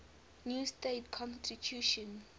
new state constitution